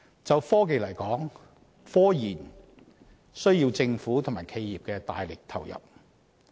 就科技而言，科研需要政府及企業大力投入。